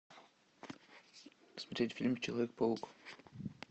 смотреть фильм человек паук